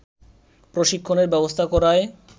প্রশিক্ষণের ব্যবস্থা করায়